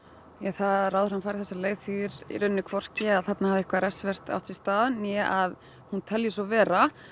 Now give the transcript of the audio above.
það að ráðherrann fari þessa leið þýðir í raunni hvorki að þarna hafi eitthvað refsivert átt sér stað né að hún telji svo vera